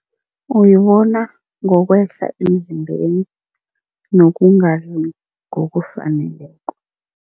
Uyibona ngokwehla emzimbeni nokungadli ngokufaneleko.